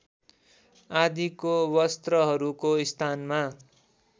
आदिको वस्त्रहरूको स्थानमा